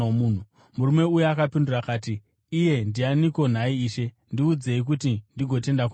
Murume uya akapindura akati, “Iye ndianiko nhai, Ishe? Ndiudzei kuti ndigotenda kwaari.”